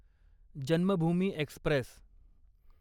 Janmabhoomi Express